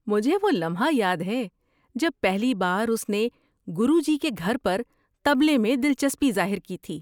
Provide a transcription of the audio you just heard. مجھے وہ لمحہ یاد ہے جب پہلی بار اس نے گروجی کے گھر پر طبلے میں دلچسپی ظاہر کی تھی۔